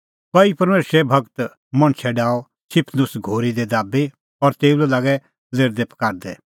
कई परमेशरे भगत मणछै डाहअ स्तिफनुस घोरी दी दाबी और तेऊ लै लागै लेरदैपकारदै